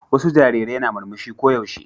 Wasu jarirai na murmushi ko yaushe.